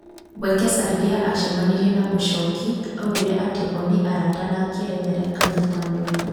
Wekesa rĩrĩa acemanirie na Muchoki augire atĩ o nĩ arata na akĩerethera Kanye ta mũndu mw